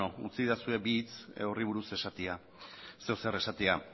utzidazue bi hitz horri buruz esatea zeozer esatea